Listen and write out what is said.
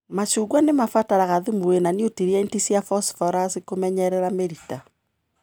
Macungua nĩmabataraga thumu wina nutrienti cia fosforasi kũmenyerera mĩrita.